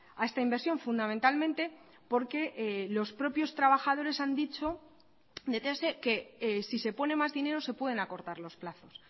a esta inversión fundamentalmente porque los propios trabajadores han dicho que si se pone más dinero se pueden acortar los plazos